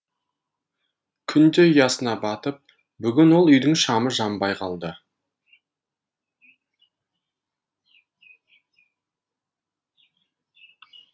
күн де ұясына батып бүгін ол үйдің шамы жанбай қалды